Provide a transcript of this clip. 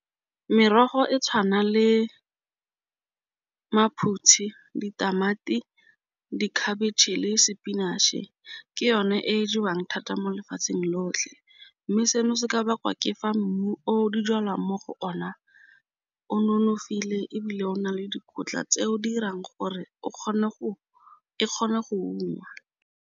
Merogo e tshwana le maphutshi, ditamati, dikhabetšhe le spinach-e ke yone e jewang thata mo lefatsheng lotlhe, mme seno se ka bakwa ke fa mmu o di jalwang mo go ona o nonofile ebile o na le dikotla tse o dirang gore o kgone go e kgone go ungwa.